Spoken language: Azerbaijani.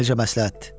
Necə məsləhətdir.